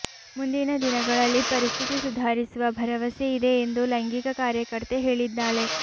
ಮುಂದಿನ ದಿನಗಳಲ್ಲಿ ಪರಿಸ್ಥಿತಿ ಸುಧಾರಿಸುವ ಭರವಸೆಯಿದೆ ಎಂದು ಲೈಂಗಿಕ ಕಾರ್ಯಕರ್ತೆ ಹೇಳಿದ್ದಾಳೆ